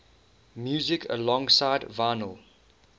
music alongside vinyl